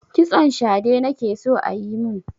Kitson shade nake so a yi mun.